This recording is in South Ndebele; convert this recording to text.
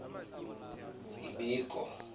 ibiko